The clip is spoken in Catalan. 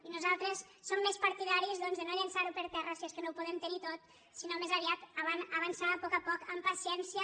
i nosaltres som més partidaris doncs de no llançar·ho per terra si és que no ho podem tenir tot sinó més aviat avançar a poc a poc amb paciència